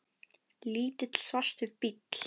Lítill, svartur bíll.